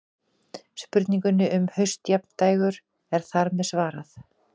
Spurningunni um haustjafndægur er þar með svarað.